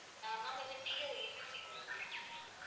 ஆஹ் ma'am இது PR agency தானே ma'am